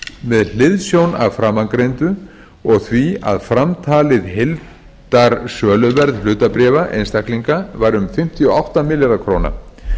með hliðsjón af framangreindu og því að framtalið heildarsöluverð hlutabréfa einstaklinga var um fimmtíu og átta milljarðar króna